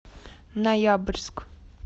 ноябрьск